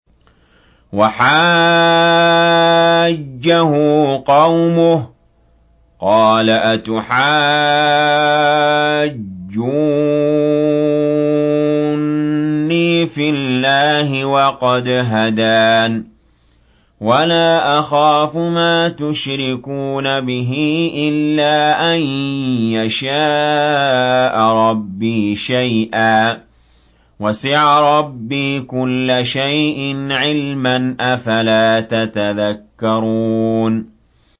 وَحَاجَّهُ قَوْمُهُ ۚ قَالَ أَتُحَاجُّونِّي فِي اللَّهِ وَقَدْ هَدَانِ ۚ وَلَا أَخَافُ مَا تُشْرِكُونَ بِهِ إِلَّا أَن يَشَاءَ رَبِّي شَيْئًا ۗ وَسِعَ رَبِّي كُلَّ شَيْءٍ عِلْمًا ۗ أَفَلَا تَتَذَكَّرُونَ